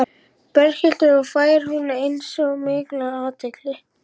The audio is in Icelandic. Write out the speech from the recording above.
Berghildur: Og fær hún eins mikla athygli?